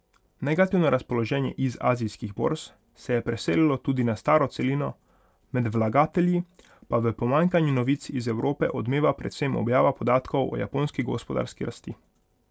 Negativno razpoloženje iz azijskih borz se je preselilo tudi na staro celino, med vlagatelji pa v pomanjkanju novic iz Evrope odmeva predvsem objava podatkov o japonski gospodarski rasti.